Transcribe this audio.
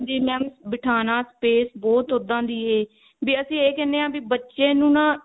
ਜੀ mam ਬਿਠਾਉਣ space ਬਹੁਤ ਉੱਦਾਂ ਦੀ ਇਹ ਵੀ ਅਸੀਂ ਇਹ ਕਹਿਨੇ ਹਾਂ ਕਿ ਬੱਚੇ ਨੂੰ ਨਾ